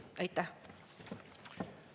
Aitäh!